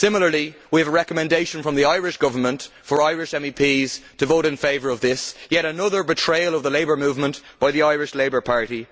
Similarly we have a recommendation from the Irish Government for Irish MEPs to vote in favour of this yet another betrayal of the labour movement by the Irish Labour Party.